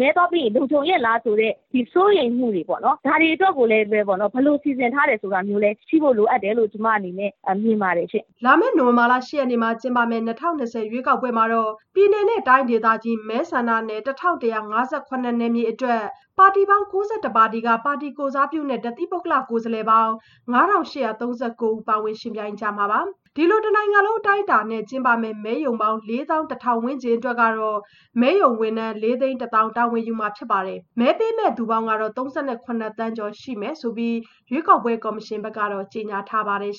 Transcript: မဲသွားပေးကြမယ့် ပြည်သူတွေအတွက်လည်း မဲသွားပေးရင် လုံခြုံရဲ့လား ဆိုတဲ့ စိုးရိမ်မှုတွေပေါ့နော်။ ဒါတွေအတွက်ကိုလည်း ဘယ်လိုစီစဉ်ထားလဲဆိုတာ ရှိဖို့လိုအပ်တယ်လို့ ကျမအနေနဲ့ မြင်ပါတယ်ရှင့်။" လာမယ့် နိုဝင်ဘာလ ၈ ရက်နေ့မှာ ကျင်းပမယ့် ၂၀၂၀ ရွေးကောက်ပွဲမှာ ပြည်နယ်တိုင်းဒေသကြီး မဲဆန္ဒနယ် ၁,၁၅၇ နယ်မြေအတွက် ပါတီပေါင်း ၉၁ ပါတီက ပါတီကိုယ်စားပြုနဲ့ တသီးပုဂ္ဂလကိုယ်စားပေါင်း ၅,၈၃၉ ဦး ယှဉ်ပြိုင်ကြမှာပါ။ ဒီလို တနိုင်ငံလုံး အတိုင်းအတာနဲ့ မဲရုံပေါင်း ၄၁,၀၀၀ ဝန်းကျင်အတွက် မဲရုံဝန်ထမ်းက ၄၁၀,၀၀၀ တာဝန်ယူမှာဖြစ်ပြီး မဲပေးမယ့်သူပေါင်းကတော့ ၃၇ သန်းကျော်ရှိမယ်လို့ ရွေးကောက်ပွဲကော်မရှင်က ကြေညာထားပါတယ်